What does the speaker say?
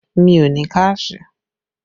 Mi ò ní káàṣì